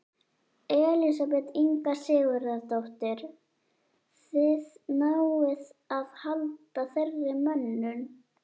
Elísabet Inga Sigurðardóttir: Þið náið að halda þeirri mönnun?